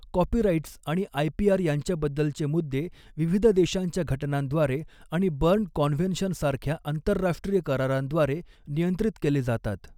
Copyrights आणि IPR यांच्याबद्दलचॆ मुद्दे विविध देशांच्या घटनांद्वारे आणि बर्न कॉन्व्हेन्शन सारख्या आंतरराष्ट्रीय करारांद्वारे नियंत्रित केले जातात.